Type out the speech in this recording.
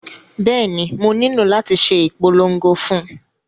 Bẹ́ẹ̀ni, mo nílò láti ṣe ìpolongo fún un